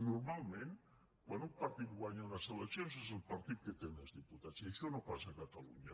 normalment quan un partit guanya unes eleccions és el partit que té més diputats i això no passa a catalunya